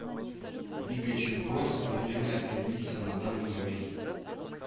лига чемпионов турнирная таблица на данный момент